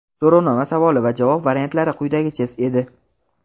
So‘rovnoma savoli va javob variantlari quyidagicha edi:.